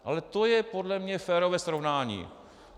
Ale to je podle mě férové srovnání.